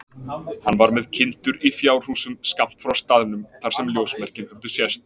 Hann var með kindur í fjárhúsum skammt frá staðnum þar sem ljósmerkin höfðu sést.